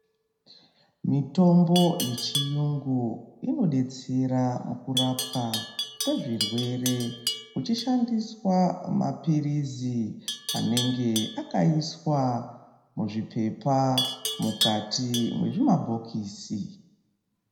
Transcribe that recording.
Mitombo yechiyungu inodetsera mukurapwa kwezvirwere kuvhishandiswa maphirizi anenge akaiswa mukati mwezvimabhokisi.